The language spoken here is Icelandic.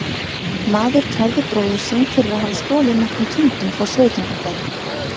Maður kærði bróður sinn fyrir að hafa stolið nokkrum kindum frá sveitungum þeirra.